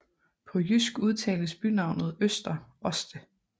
På jysk udtales bynavnet Øster Orste